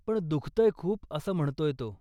पण दुखतंय खूप असं म्हणतोय तो.